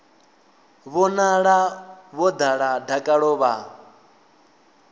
vhonala vho ḓala dakalo vha